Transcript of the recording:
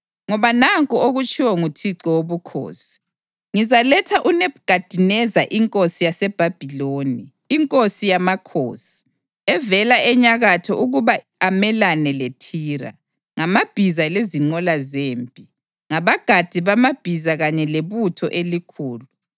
Ngoba nanku okutshiwo nguThixo Wobukhosi: Ngizaletha uNebhukhadineza inkosi yaseBhabhiloni, inkosi yamakhosi, evela enyakatho ukuba amelane leThire, ngamabhiza lezinqola zempi, ngabagadi bamabhiza kanye lebutho elikhulu.